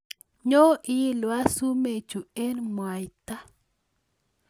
Nyo iilwa sumekchu eng mwaita